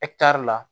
la